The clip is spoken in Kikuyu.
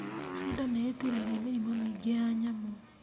Bunda nĩ ĩtiragia mĩrĩmũ mĩingĩ ya nyamũ.